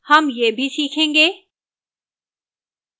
हम यह भी सीखेंगे: